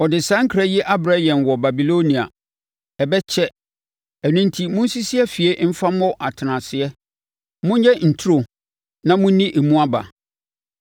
Ɔde saa nkra yi abrɛ yɛn wɔ Babilonia: Ɛbɛkyɛ. Ɛno enti monsisi afie mfa mmɔ atenaseɛ; monyɛ nturo na monni emu aba.’ ”